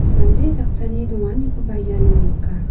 mande saksani donganikoba iano nika.